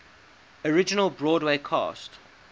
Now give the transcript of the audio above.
original broadway cast